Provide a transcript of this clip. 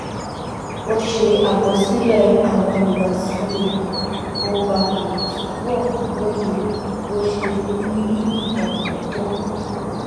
ó ṣe àkọsílè àwọn ìhùwàsí rè kó bàa lè túbò lóye bó ṣe n ní ìdààmú tó